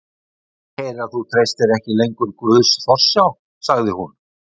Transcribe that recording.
Ég heyri að þú treystir ekki lengur Guðs forsjá, sagði hún.